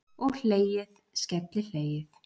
Og hlegið, skellihlegið!